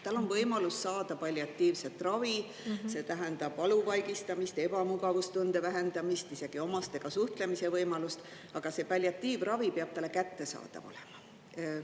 Tal on võimalus saada palliatiivset ravi, see tähendab valu vaigistamist ja ebamugavustunde vähendamist, isegi omastega suhtlemise võimalust, aga see palliatiivravi peab talle kättesaadav olema.